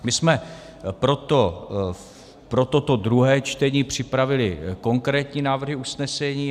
My jsme pro toto druhé čtení připravili konkrétní návrhy usnesení.